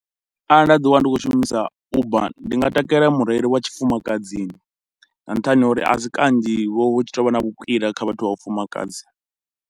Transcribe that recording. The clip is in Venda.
Arali nda ḓi wana ndi khou shumisa Uber, ndi nga takalela mureili wa tshifumakadzini nga nṱhani ha uri a si kanzhi vhoo hu tshi tovha na vhukwila kha vhathu vha vhafumakadzi.